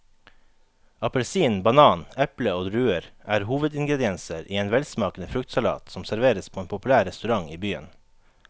Appelsin, banan, eple og druer er hovedingredienser i en velsmakende fruktsalat som serveres på en populær restaurant i byen.